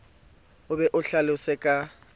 o be o hlalose ka